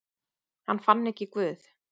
Hann fann ekki Guð.